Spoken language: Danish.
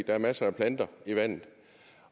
er masser af planter i vandet